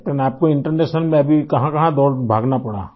captain आपको international में अभी कहाँकहाँ दौड़ भागना पड़ा